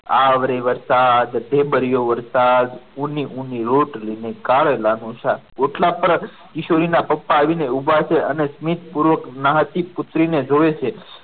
આવ રે વરસાદ ઢેબરીયો વરસાદ ઉની ઉની રોટલી ને કારેલાનું શાક ઓટલા પર કિશોરી ના પપ્પા આવીને ઊભા છે અને સ્મિત પૂર્વક નાચતી પુત્રીને જોવે છે.